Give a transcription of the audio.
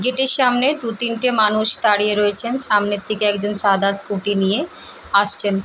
গেটের সামনে দু তিনটে মানুষ দাঁড়িয়ে রয়েছেন সামনের দিকে একজন সাদা স্কুটি নিয়ে আসছেন।